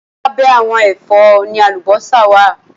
Lábẹ́ àwọn ẹ̀fọ́ ni àlùbọ́sà wá à.